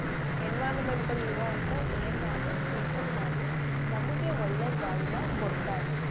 Environment ಲ್ ಇರೋಂಥ air ನ ಅದು filter ಮಾಡಿ ನಮ್ಗೆ ಒಳ್ಳೆ ಗಾಳಿನ ಕೊಡ್ತಾ ಇದೆ.